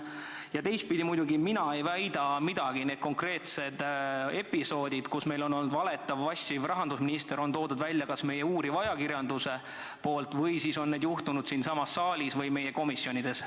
Ja teistpidi, mina ei väida midagi, need konkreetsed episoodid, kus meil on olnud tegemist valetava ja vassiva rahandusministriga, on toonud välja meie uuriv ajakirjandus või siis on need juhtunud siinsamas saalis või meie komisjonides.